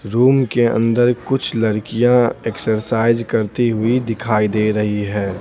Room के अंदर कुछ लड़कियाँ एक्सरसाइज करती हुई दिखाई दे रही है।